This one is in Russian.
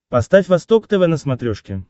поставь восток тв на смотрешке